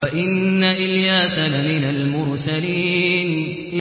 وَإِنَّ إِلْيَاسَ لَمِنَ الْمُرْسَلِينَ